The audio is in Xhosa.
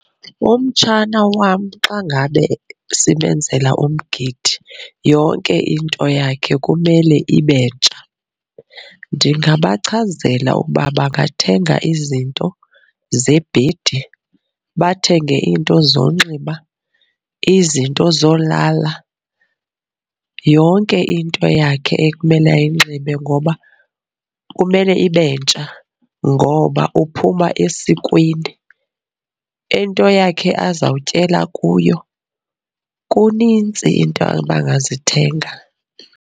Umtshana wam xa ngabe simenzela umgidi yonke into yakhe kumele ibentsha. Ndingabachazela ukuba bangathenga izinto zebhedi, bathenge iinto zokunxiba, izinto zokulala. yonke into yakhe ekumele ayinxibe ngoba kumele ibentsha ngoba uphuma esikweni. Into yakhe azawutyela kuyo, kunintsi iinto abangazithenga.